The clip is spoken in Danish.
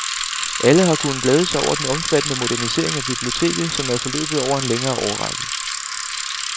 Alle har kunnet glæde sig over den omfattende modernisering af biblioteket, som er forløbet over en længere årrække.